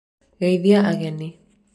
geithia ageni